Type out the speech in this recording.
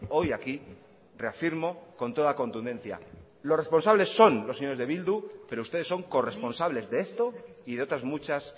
hoy aquí reafirmo con toda contundencia los responsables son los señores de bildu pero ustedes son corresponsables de esto y de otras muchas